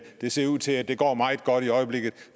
det ser ud til at det går meget godt i øjeblikket